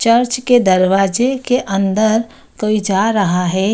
Church के दरवाजे के अंदर कोई जा रहा है।